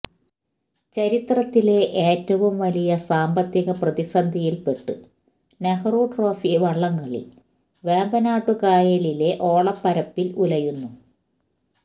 ചരിത്രത്തിലെ ഏറ്റവും വലിയ സാമ്പത്തിക പ്രതിസന്ധിയിൽപ്പെട്ട്് നെഹ്റുട്രോഫി വള്ളംകളി വേമ്പനാട്ടുകായലിലെ ഓളപ്പരപ്പിൽ ഉലയുന്നു